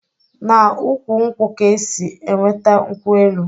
Na ukwu nkwu ka e si -enweta nkwu-elu